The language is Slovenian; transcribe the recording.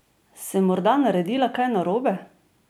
Sem morda naredila kaj narobe?